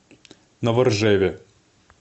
новоржеве